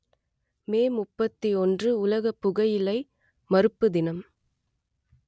மே முப்பத்தி ஒன்று உலக புகையிலை மறுப்பு தினம்